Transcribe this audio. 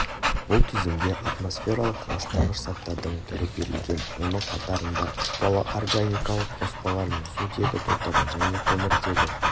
бұл тізімде атмосфералық ластағыш заттардың түрі берілген оның қатарында ұшпалы органикалық қоспалар мен сутегі тотығы және көмертегі